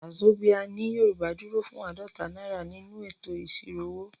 Wàzobíà ní Yorùbá dúró fún àádọ́ta náírà nínú ètò ìṣirò owó.